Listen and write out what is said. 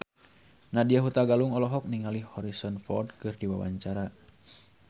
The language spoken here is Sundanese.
Nadya Hutagalung olohok ningali Harrison Ford keur diwawancara